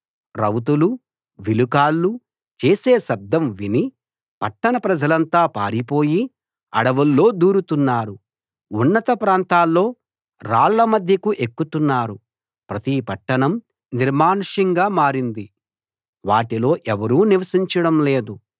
రౌతులూ విలుకాళ్ళూ చేసే శబ్దం విని పట్టణ ప్రజలంతా పారిపోయి అడవుల్లో దూరుతున్నారు ఉన్నత ప్రాంతాల్లో రాళ్ళ మధ్యకు ఎక్కుతున్నారు ప్రతి పట్టణం నిర్మానుష్యంగా మారింది వాటిలో ఎవరూ నివసించడం లేదు